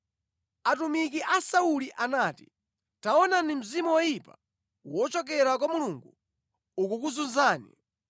Atumiki a Sauli anati, “Taonani mzimu woyipa wochokera kwa Mulungu ukukuzunzani.